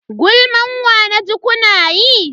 Gulman wa naji kuna yi?